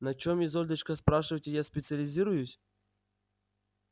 на чем изольдочка спрашиваете я специализируюсь